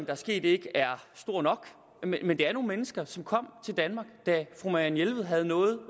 er sket ikke er stor nok men det er nogle mennesker som kom til danmark da fru marianne jelved havde noget